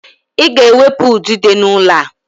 Ị ga-ewepụ udide n'ụlọ a!